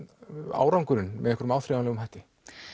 árangurinn með áþreifanlegum hætti